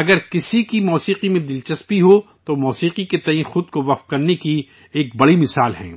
اگر کسی کی موسیقی میں دلچسپی ہو، تو وہ موسیقی کے تئیں خود کو وقف کر دینے کی بڑی مثال ہی ہے،